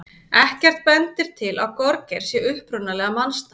Ekkert bendir til að gorgeir sé upprunalega mannsnafn.